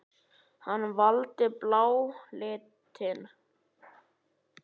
Hann valdi bláa litinn.